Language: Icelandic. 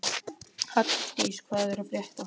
Halldís, hvað er að frétta?